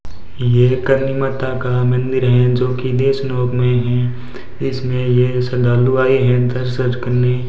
ये करनी माता का मंदिर है जो की देशनोक में है इसमें ये श्रद्धालु आए हैं दर्शज करने।